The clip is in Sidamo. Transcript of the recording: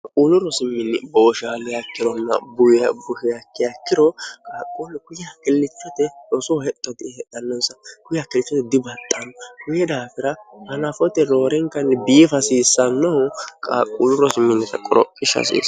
haquulu rosiminni booshaaleyakkironna buya buheyakkiyakkiro qaaqquolno kuyya hakillichote rosoho hexxodi hedhannonsa buyy hakkilchote dibaxxaanno huye daafira hanafote roorenkanni biif hasiissannohu qaaqquulu rosiminnita qoro ishsh hasiio